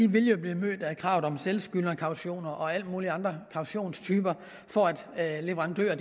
vil blive mødt af krav om selvskyldnerkautioner og alle mulige andre kautionstyper for at leverandører